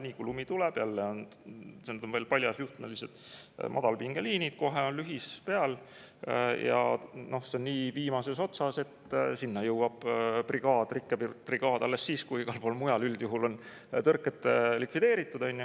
Nii kui lumi tuleb – need on veel paljasjuhtmelised madalpingeliinid –, kohe on lühis peal, ja kuna see on nii viimases otsas, siis sinna jõuab rikkebrigaad alles siis, kui igal pool mujal üldjuhul on tõrked likvideeritud.